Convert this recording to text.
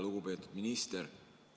Lugupeetud minister!